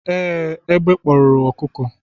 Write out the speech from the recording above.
ee, egbe kporo okuko.